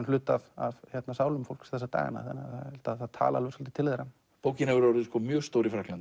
hluti af sálum fólks þessa dagana það talar svolítið til þeirra bókin hefur orðið mjög stór í Frakklandi